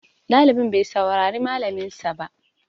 Ɗalibin bai saurari malaminsa ba.